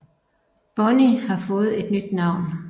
Bonney har fået et nyt navn